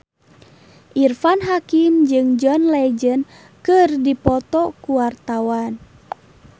Irfan Hakim jeung John Legend keur dipoto ku wartawan